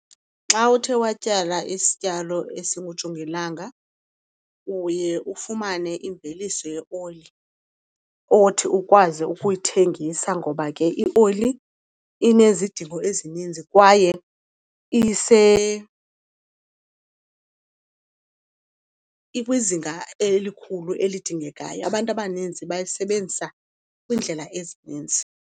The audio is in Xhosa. Xa uthe watyala isityalo esingujongilanga uye ufumane imveliso yeoli othi ukwazi ukuyithengisa. Ngoba ke ioli inezidingo ezininzi kwaye ikwizinga elikhulu elidingekayo, abantu abaninzi bayisebenzisa kwiindlela ezininzi.